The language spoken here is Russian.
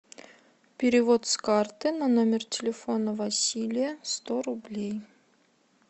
перевод с карты на номер телефона василия сто рублей